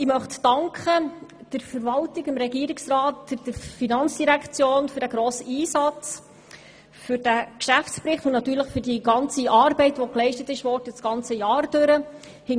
Ich möchte der Verwaltung, dem Regierungsrat und der FIN für den grossen Einsatz im Zusammenhang mit dem Geschäftsbericht sowie für die ganze Arbeit, die während des Jahres geleistet wurde, danken.